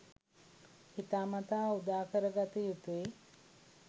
හිතාමතා උදාකරගත යුතුයි